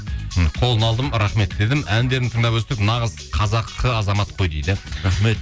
қолын алдым рахмет дедім әндерін тыңдап өстік нағыз қазақы азамат қой дейді рахмет